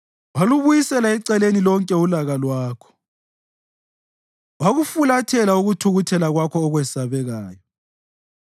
Walubuyisela eceleni lonke ulaka lwakho wakufulathela ukuthukuthela kwakho okwesabekayo.